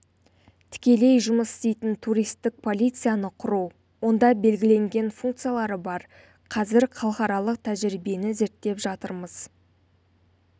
тікелей жұмыс істейтін туристік полицияны құру онда белгіленген функциялары бар қазір халықаралық тәжірибені зерттеп жатрмыз